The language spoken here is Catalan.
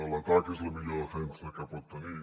l’atac és la millor defensa que pot tenir